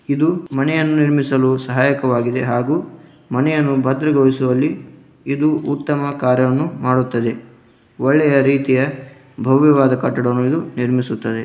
ಇದು ಮನೆಯನ್ನು ನಿರ್ಮಿಸಲು ಸಹಾಯಕವಾಗಿದೆ ಹಾಗೂ ಮನೆಯನ್ನು ಭದ್ರಗೊಳಿಸುವಲ್ಲಿ ಇದು ಉತ್ತಮ ಕಾರ್ಯವನ್ನು ಮಾಡುತ್ತದೆ. ಒಳ್ಳೆಯ ರೀತಿಯ ಭವ್ಯವಾದ ಕಟ್ಟಡವನ್ನು ಇದು ನಿರ್ಮಿಸುತ್ತದೆ.